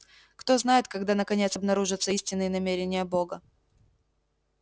кто знает когда наконец обнаружатся истинные намерения бога